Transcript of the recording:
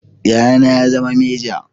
Yayana ya zama meja